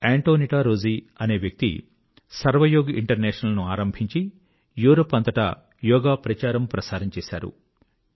Antonietta Rozzi అనే వ్యక్తి Sarvayog International ను ఆరంభించి యూరప్ అంతటా యోగా ప్రచారంప్రసారం చేశారు